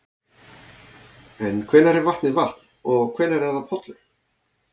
En hvenær er vatnið vatn og hvenær er það pollur?